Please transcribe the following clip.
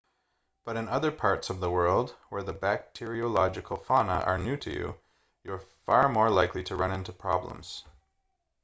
but in other parts of the world where the bacteriological fauna are new to you you're far more likely to run into problems